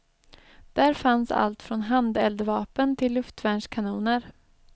Där fanns allt från handeldvapen till luftvärnskanoner.